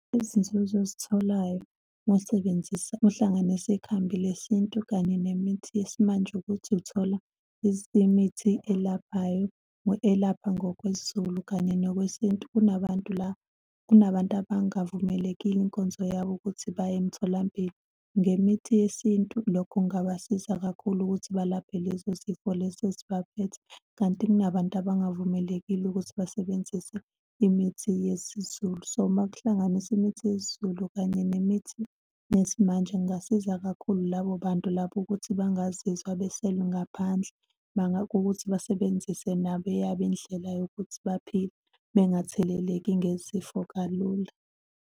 Izinzuzo ozitholayo uma usebenzisa, uhlanganisa ikhambi lesintu kanye nemithi yesimanje ukuthi uthola imithi elaphayo, elapha ngokwesiZulu kanye ngokwesintu. Kunabantu la, kunabantu abangavumeleki inkonzo yabo ukuthi baye emtholampilo. Ngemithi yesintu, lokho kungabasiza kakhulu ukuthi balaphe leso sifo leso esibaphethe. Kanti kunabantu abangavumelekile ukuthi basebenzise imithi yesiZulu. So, uma kuhlanganiswa imithi yesiZulu kanye nemithi yesimanje, kungasiza kakhulu labo bantu labo ukuthi bangazizwa beseli ngaphandle, bangawukuthi basebenzise nabo eyabo indlela yokuthi baphile bengatheleleki ngezifo kalula.